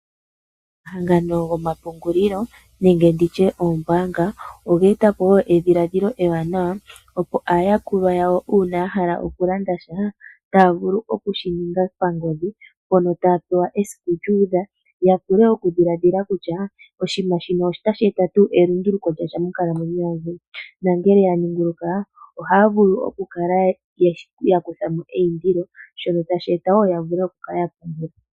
Omahangano gomapungulilo nenge nditye oombanga, oga eta po wo edhiladhilo ewanawa opo aayakulwa yawo uuna ya hala okulanda sha taya vulu oku shi ninga pangodhi. Mpono taya pewa esiku lya udha ya vule okudhiladhila kutya oshinima shino otasji eta tuu elunduluko lyasha monkalamweyo yandje? Na ngele ya ninguluka ohaya vulu okukala ya kuthamo eyindilo, shono tashi eta wo ya vule okukala ya pungula.